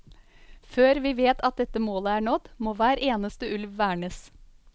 Før vi vet at dette målet er nådd, må hver eneste ulv vernes.